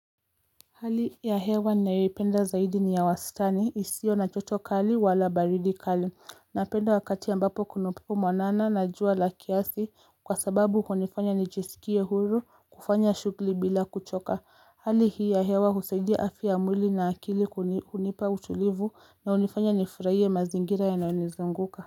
Hali ya hewa nainayoipenda zaidi ni ya wastani isio na joto kali wala baridi kali na penda wakati ambapo kuna upepo mwanana na jua la kiasi kwa sababu hunifanya nijisikie huru kufanya shughuli bila kuchoka hali hii ya hewa husaidia afya ya mwili na akili hunipa utulivu na hunifanya nifurahie mazingira yanayo nizunguka.